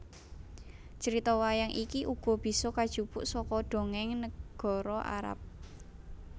Crita wayang iki uga bisa kajupuk saka dongéng nègara Arab